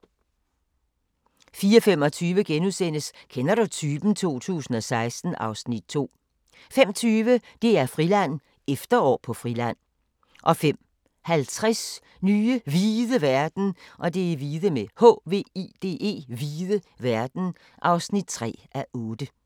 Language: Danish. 04:25: Kender du typen? 2016 (Afs. 2)* 05:20: DR-Friland: Efterår på Friland 05:50: Nye hvide verden (3:8)